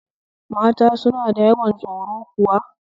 Mata suna da yawan tsoro kuwa?